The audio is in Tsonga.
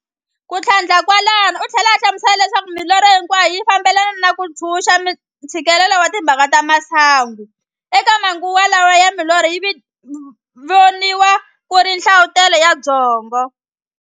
Kuthlandla kwalaho uthlela a hlamusela leswaku milorho hinkwayo yi fambelana na ku ntshunxa ntshikelelo wa timhaka ta masangu. Eka manguva lawa milorho yi viniwa ku ri nhlavutelo wa byongo.